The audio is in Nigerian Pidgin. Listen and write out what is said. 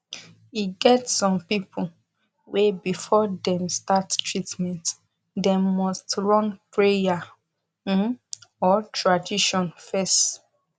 e get some people wey before dem start treatment them nust run prayer um or tradition fes